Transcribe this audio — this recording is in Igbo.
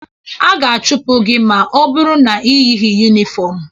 A ga-achụpụ gị ma ọ bụrụ na i yighi yunifọmụ.